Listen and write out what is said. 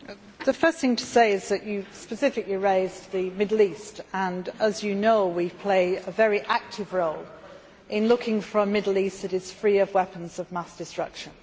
The first thing to say is that you specifically raised the Middle East and, as you know, we play a very active role in looking for a Middle East that is free of weapons of mass destruction.